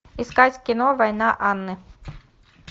искать кино война анны